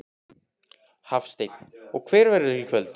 Hafsteinn: Og hver verðurðu í kvöld?